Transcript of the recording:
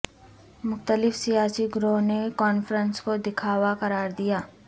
مختلف سیاسی گروہوں نے کانفرنس کو دکھاوا قرار دیا